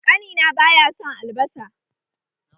Ƙani na baya son albasa